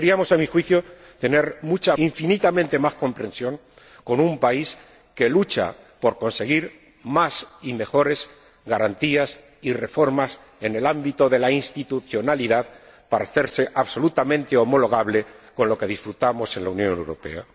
A mi juicio, deberíamos tener infinitamente más comprensión con un país que lucha por conseguir más y mejores garantías y reformas en el ámbito de la institucionalidad para hacerse absolutamente homologable con lo que disfrutamos en la Unión Europea.